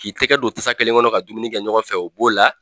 K'i tɛgɛ don tasa kelen kɔnɔ ka dumuni kɛ ɲɔgɔn fɛ o b'o la.